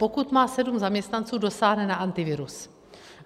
Pokud má sedm zaměstnanců, dosáhne na Antivirus.